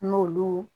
N'olu